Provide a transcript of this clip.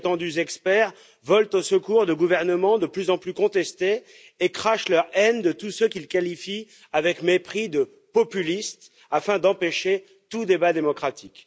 De prétendus experts volent au secours de gouvernements de plus en plus contestés et crachent leur haine de tous ceux qu'ils qualifient avec mépris de populistes, afin d'empêcher tout débat démocratique.